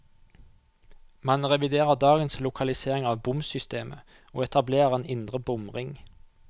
Man reviderer dagens lokalisering av bomsystemet, og etablerer en indre bomring.